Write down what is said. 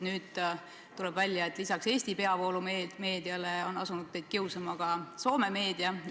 Nüüd tuleb välja, et lisaks Eesti peavoolumeediale on teid kiusama asunud ka Soome meedia.